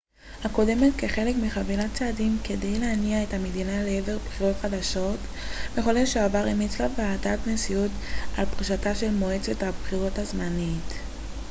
בחודש שעבר המליצה ועדת נשיאות על פרישתה של מועצת הבחירות הזמנית cep הקודמת כחלק מחבילת צעדים כדי להניע את המדינה לעבר בחירות חדשות